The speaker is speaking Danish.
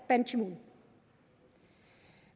ban ki moon